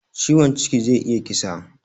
Ciwon ciki zai iya kisa